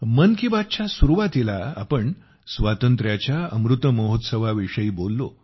मन की बात च्या सुरुवातीला आपण स्वातंत्र्याच्या अमृत महोत्सवाविषयी बोललो